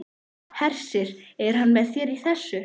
Hersir: Er hann með þér í þessu?